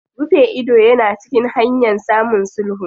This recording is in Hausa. Rufe ido yana cikin hanyan samun sulhu.